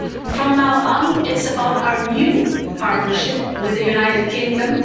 From now on it's about our new partnership with the United Kingdom.